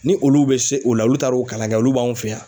Ni olu bɛ se o la olu taar'o kalan kɛ olu b'anw fɛ yan.